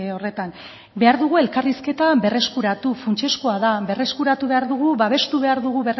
horretan behar dugu elkarrizketa berreskuratu funtsezkoa da berreskuratu behar dugu babestu behar dugu